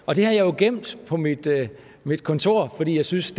og det har jeg gemt på mit mit kontor fordi jeg synes